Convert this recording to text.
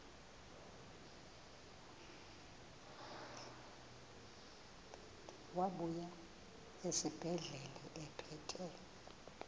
wabuya esibedlela ephethe